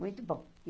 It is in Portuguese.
Muito bom.